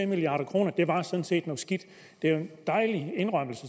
milliard kroner var sådan set noget skidt det er jo